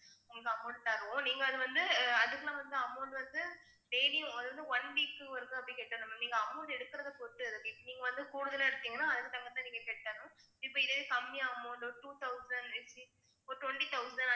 நீங்க அது வந்து அதுக்குள்ள வந்து amount வந்து one week க்கு நீங்க amount எடுக்கறத பொறுத்து நீங்க வந்து கூடுதலா எடுத்தீங்கன்னா அதுக்கு தகுந்த மாதிரி நீங்க கட்டணும் இப்ப இதே கம்மியாகுமோ இல்ல two thousand ஒரு twenty ஒரு twenty thousand